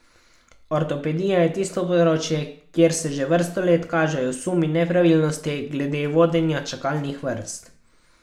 Ortopedija je tisto področje, kjer se že vrsto let kažejo sumi nepravilnosti glede vodenja čakalnih vrst.